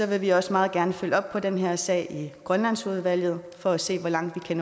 vil vi også meget gerne følge op på den her sag i grønlandsudvalget for at se hvor langt vi